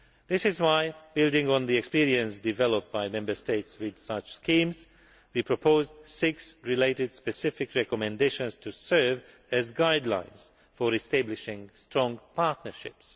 This is why, building on the experience developed by Member States with such schemes, we proposed six related specific recommendations to serve as guidelines for establishing strong partnerships.